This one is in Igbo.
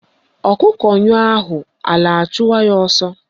Ọkụkọ nyụọ ahụ ala achụwa ya ọsọ